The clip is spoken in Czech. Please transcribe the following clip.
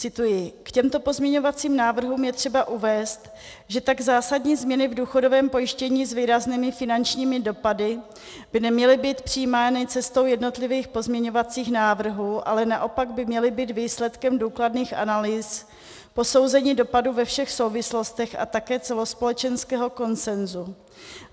Cituji: K těmto pozměňovacím návrhům je třeba uvést, že tak zásadní změny v důchodovém pojištění s výraznými finančními dopady by neměly být přijímány cestou jednotlivých pozměňovacích návrhů, ale naopak by měly být výsledkem důkladných analýz, posouzení dopadu ve všech souvislostech, a také celospolečenského konsenzu.